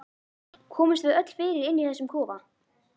Komumst við öll fyrir inni í þessum kofa?